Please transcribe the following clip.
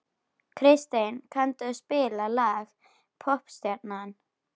Kristey, kanntu að spila lagið „Poppstjarnan“?